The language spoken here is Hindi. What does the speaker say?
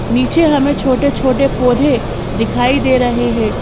नीचे हमें छोटे-छोटे पौधे दिखाई दे रहे हैं।